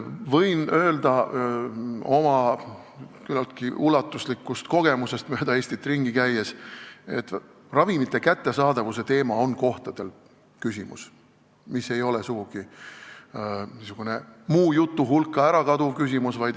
Võin öelda oma küllaltki ulatuslikust kogemusest mööda Eestit ringi käies, et ravimite kättesaadavuse teema on küsimus, mis ei kao sugugi kuhugi muu jutu hulka ära.